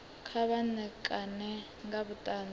kha vha ṋekane nga vhuṱanzi